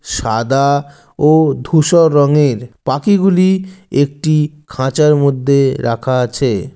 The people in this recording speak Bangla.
সাদাআ ঔ ধূসর রঙেরর পাখি গুলি একটিই খাঁচার মধ্যে রাখা আছে।